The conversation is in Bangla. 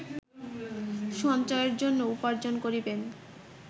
সঞ্চয়ের জন্য উপার্জ্জন করিবেন